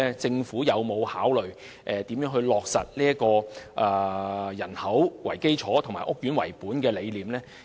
政府有否考慮如何落實"以人口為基礎"及"屋苑為本"的理念？